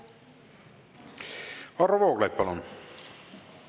Varro Vooglaid, palun!